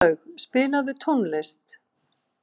Róslaug, spilaðu tónlist.